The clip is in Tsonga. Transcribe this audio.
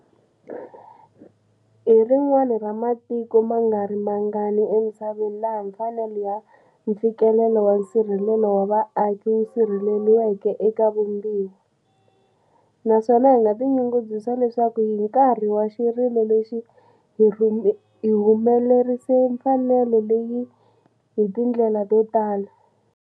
Hi rin'wana ra matiko mangarimangani emisaveni laha mfanelo ya mfikelelo wa nsirhelelo wa vaaki wu sirheleriweke eka Vumbiwa, naswona hi nga tinyungubyisa leswaku hi nkarhi wa xirilo lexi hi humelerise mfanelo leyi hi tindlela to tala.